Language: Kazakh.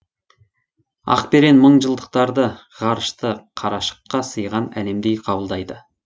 ақберен мыңжылдықтарды ғарышты қарашыққа сыйған әлемдей қабылдайды